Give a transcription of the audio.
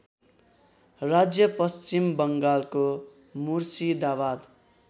राज्य पश्चिमबङ्गालको मुर्शिदाबाद